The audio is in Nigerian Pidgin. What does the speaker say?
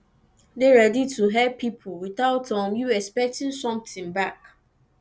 dey ready to help pipo without um you expecting something back